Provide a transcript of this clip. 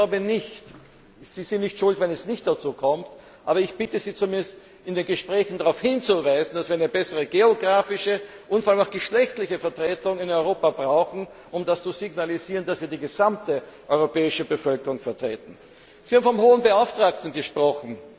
Sie sind natürlich nicht schuld, wenn es nicht dazu kommt, aber ich bitte Sie, zumindest in den Gesprächen darauf hinzuweisen, dass wir eine bessere geografische und vor allem auch geschlechtliche Vertretung in Europa brauchen, um zu signalisieren, dass wir die gesamte europäische Bevölkerung vertreten. Sie haben vom Hohen Beauftragten gesprochen.